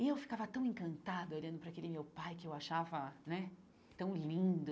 E eu ficava tão encantada olhando para aquele meu pai, que eu achava né tão lindo,